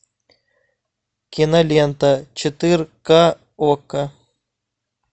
кинолента четырка окко